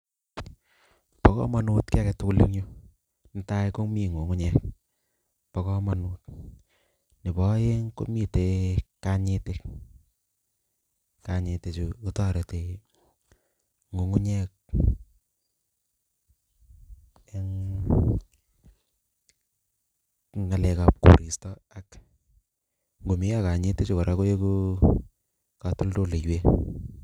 Bo kamanut kiiy age tugul eng yu, netai, komi ngungunyek, bo kamanut. Nebo aeng komitei kanyitiik, kanyitichu kotoreti ngungunyek eng ngalekab koristo ak ngomeyo kanyitichu kora koeku katoldolweik.